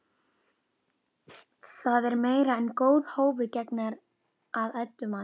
Það er meira en góðu hófi gegnir að Eddu mati.